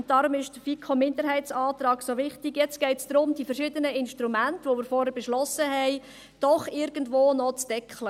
Aber – und deshalb ist der FiKo-Minderheitsantrag so wichtig – jetzt geht es darum, die verschiedenen Instrumente, die wir vorhin beschlossenen haben, doch noch irgendwo zu deckeln.